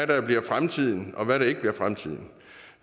der bliver fremtiden og hvad der ikke bliver fremtiden